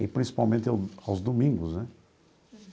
E principalmente ao aos domingos, né?